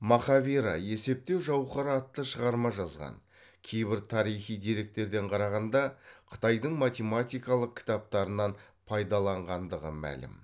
махавира есептеу жауһары атты шығарма жазған кейбір тарихи деректерден қарағанда қытайдың математикалық кітаптарынан пайдаланғандығы мәлім